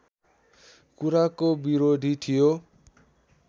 कुराको विरोधी थियो